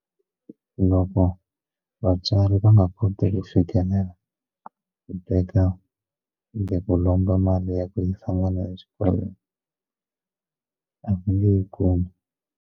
Loko vatswari va nga koteki ku teka kumbe ku lomba mali ya ku yisa n'wana exikolweni a va nge yi kumi.